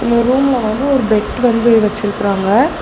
இந்த ரூம்ல வந்து ஒரு பெட் வந்து வெச்சிருக்குறாங்க.